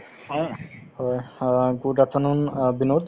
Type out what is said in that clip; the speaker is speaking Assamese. হয় হয় , good afternoon বিনোদ।